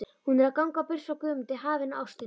Hún er að ganga burt frá Guðmundi, hafinu og ástinni.